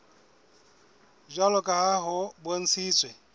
jwalo ka ha ho bontshitswe